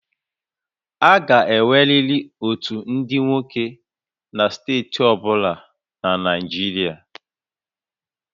A ga-enweriri otu ndị nwoke na steeti ọ bụla na Naịjirịa